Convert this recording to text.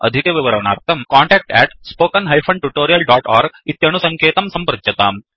अधिकविवरणार्थं contactspoken tutorialorg इत्यणुसङ्केतं सम्पृच्यताम्